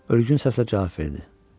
Ölgün səslə cavab verdi: